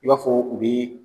I b'a fɔ u bi